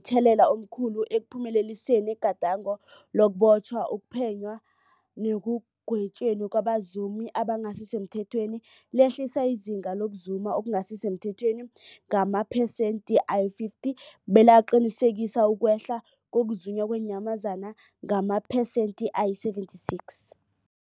Ihlelweli libe momthelela omkhulu ekuphumeleliseni igadango lokubotjhwa, ukuphenywa nekugwetjweni kwabazumi abangasisemthethweni, lehlisa izinga lokuzuma okungasi semthethweni ngamaphesenthe-50, belaqinisekisa ukwehla kokuzunywa kweenyamazana ngamaphesenthe-76.